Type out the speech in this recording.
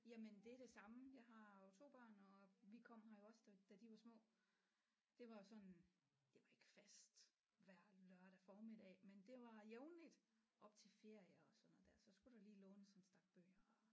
Jamen det er det samme jeg har jo 2 børn og vi kom her jo også da da de var små det var sådan det var ikke fast hver lørdag formiddag men det var jævnligt op til ferier og sådan noget der så skulle der lige lånes en stak bøger